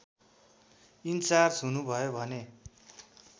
in charge हुनुभयो भने